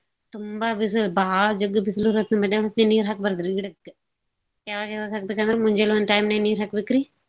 ತುಂಬಾ ಬಿಸು~ ಭಾಳ್ ಜಗ್ ಬಿಸುಲಿರೊತ್ನ್ಯಗ್ ಮದ್ಯಾನ್ದ್ ಹೊತ್ನ್ಯಗ್ ನೀರ್ ಹಾಕ್ಬಾರ್ದ್ರಿ ಗಿಡಕ್ಕ. ಯವಾಗೆವಾಗ್ ಹಾಕ್ಬೇಕಂದ್ರ ಮುಂಜಾಲೊಂದ್ time ನ್ಯಾಗ್ ನೀರ್ ಹಾಕ್ಬೇಕ್ರಿ.